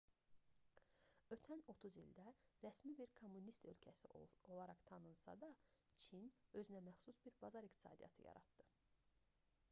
ötən 30 ildə rəsmi bir kommunist ölkəsi olaraq tanınsa da çin özünəməxsus bir bazar iqtisadiyyatı yaratdı